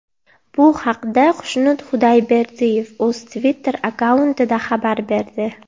Bu haqda Xushnud Xudayberdiyev o‘z Twitter akkauntida xabar berdi .